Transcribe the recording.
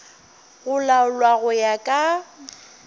go laolwa go ya ka